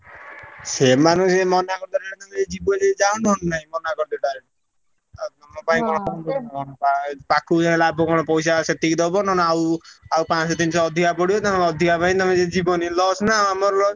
ସେମାନଙ୍କୁ ସେଇ ମନା କରିଦେଲେ ଯିବ ଯଦି ଯାଅ ନହେଲେ ନାଇଁ ମନା କରିଦେ direct ଆଉ ତୁମ ପାଇଁ କଣ ସବୁ ପାଖୁକୁ ଯାଇ ଲାଭ କଣ ପଇସା ସେତିକି ଦବ ନହେଲେ ଆଉ ଆଉ ପାଂଶ ତିନିଶହ ଅଧିକା ପଡିବ ତାଙ୍କ ଅଧିକା ପାଇଁ ତମେ ଯଦି ଯିବନି loss ନା ଆଉ ଆମର loss